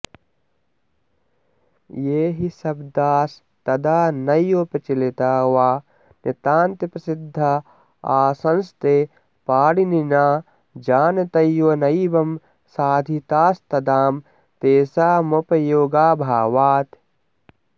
ये हि शब्दास्तदा नैव प्रचलिता वा नितान्तप्रसिद्धा आसंस्ते पाणिनिना जानतैव नैवं साधितास्तदां तेषामुपयोगाभावात्